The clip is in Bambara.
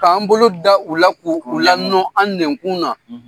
K'an bolo da u la. k'u u la nɔ an nɛnkun na.